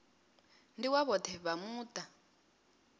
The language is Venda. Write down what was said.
ndi wa vhoṱhe vha muṱa